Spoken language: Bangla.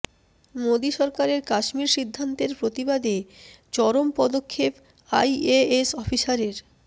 মোদী সরকারের কাশ্মীর সিদ্ধান্তের প্রতিবাদে চরম পদক্ষেপ আইএএস অফিসারের